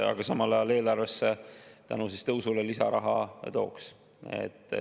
Aga samal ajal see tõus eelarvesse lisaraha tooks.